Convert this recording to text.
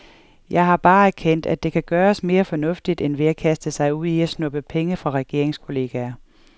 Jeg har bare erkendt, at det kan gøres mere fornuftigt end ved at kaste sig ud i at snuppe penge fra regeringskolleger.